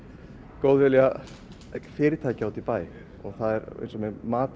góðvilja fyrirtækja úti í bæ það er eins með matinn